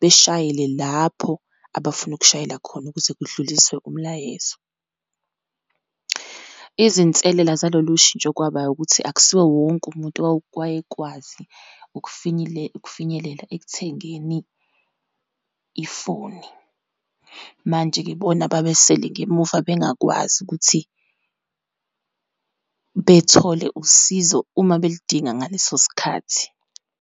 beshayele lapho abafuna ukushayela khona, ukuze kudluliswe umlayezo. Izinselela zalolushintsho kwaba wukuthi, akusiwo wonke umuntu owayekwazi ukufinyelela ekuthengeni ifoni. Manje-ke bona babesele ngemuva, bengakwazi ukuthi bethole usizo uma belidinga ngaleso sikhathi.